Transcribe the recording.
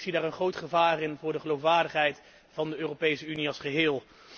Ik zie daarin een groot gevaar voor de geloofwaardigheid van de Europese Unie als geheel.